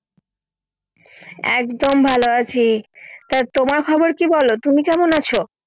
একদম ভালো আছি, তা তোমার খবর কি বলো তুমি কেমন আছো?